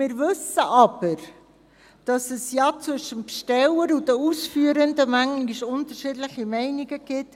Wir wissen aber, dass es zwischen dem Besteller und den Ausführenden manchmal unterschiedliche Meinungen gibt.